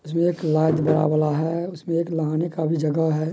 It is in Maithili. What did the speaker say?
इसमें एक लाइट बड़ा वाला है उसमे एक लगाने का भी जगह है ।